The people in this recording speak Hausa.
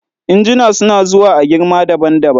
injuna suna zuwa a girma daban daban